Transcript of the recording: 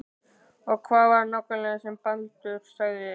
Og hvað var það nákvæmlega sem Baldur sagði?